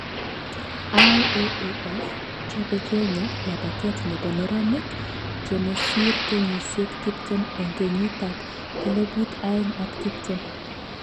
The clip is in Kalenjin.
IAAF:Chobe Kenya labatet nebo neranik chemesiri kenyisyek tiptem eng kenyit ab elibu aeng ak tiptem